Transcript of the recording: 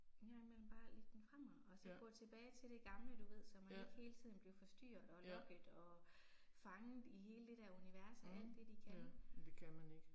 En gang imellem bare lægge den fra mig og så gå tilbage til det gamle du ved så man ikke hele tiden bliver forstyrret og lokket og fanget i hele det der univers af alt det de kan